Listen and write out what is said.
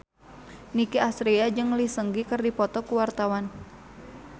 Nicky Astria jeung Lee Seung Gi keur dipoto ku wartawan